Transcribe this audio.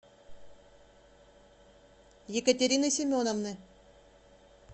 екатерины семеновны